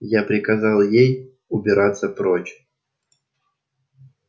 я приказал ей убираться прочь